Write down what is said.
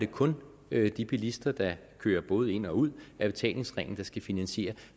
kun de bilister der kører både ind og ud af betalingsringen der skal finansiere